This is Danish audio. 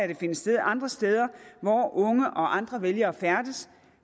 den finde sted andre steder hvor unge og andre vælgere færdes